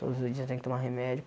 Todos os dias tem que tomar remédio.